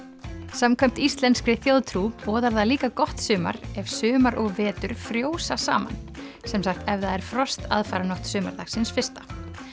samkvæmt íslenskri þjóðtrú boðar það líka gott sumar ef sumar og vetur frjósa saman sem sagt ef það er frost aðfaranótt sumardagsins fyrsta